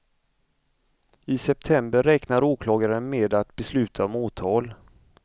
I september räknar åklagaren med att besluta om åtal.